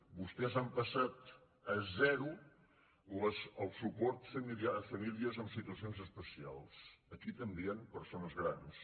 vostès han passat a zero el suport a famílies en situacions especials aquí també hi han persones grans